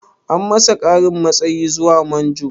An masa ƙarin matsayi zuwa manjo?